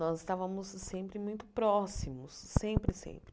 Nós estávamos sempre muito próximos, sempre, sempre.